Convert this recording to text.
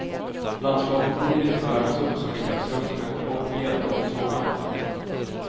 Landskapet hinner inte värmas upp så mycket att snön smälter bort helt under sommaren.